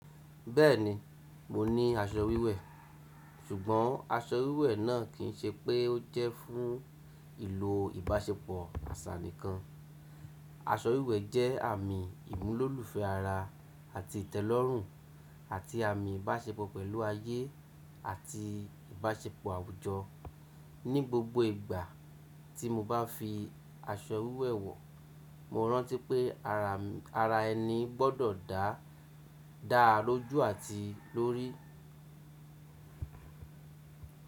Bẹ́ẹ̀ni, mo ní aṣọ wíwẹ̀. Ṣùgbọ́n aṣọ wíwẹ̀ náà kì í ṣe pé ó jẹ́ fún ìlo ìbáṣepọ̀ àṣà nìkan. Aṣọ wíwẹ̀ jẹ́ àmì ìmúlòlufẹ́ ara àti ìtẹ́lọ́rùn àti àmì ìbáṣepọ̀ pẹ̀lú ayé àti ìbáṣepọ̀ àwùjọ. Ni gbogbo ìgbà tí mo bá fi aṣọ wíwẹ̀ wọ̀, mo rántí pé ara ẹni gbọ́dọ̀ dá, daa lójú àti lórí.